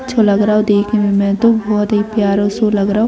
अच्छा लग रहे है देखने में तो बहुत ही प्यारो सो लग रहे है।